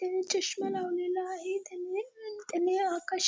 त्यांनी चष्मा लावलेला आहे त्यांनी अं त्यांनी आकाशी --